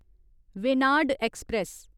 Venad express